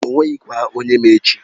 O nweghị kwa onye ma echi.